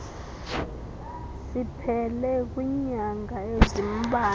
siphele kwiinyanga ezimbalwa